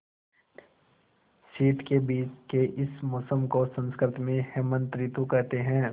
शीत के बीच के इस मौसम को संस्कृत में हेमंत ॠतु कहते हैं